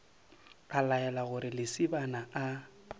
a laela gore lesibana a